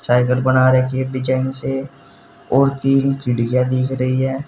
Cycle बना रखी है डिजाइन से और तीन चिड़िया दिख रही है।